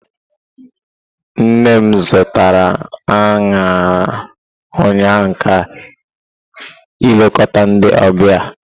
Nne m zụtara añara ụnyaahụ ka ilekota ndi ọbịa.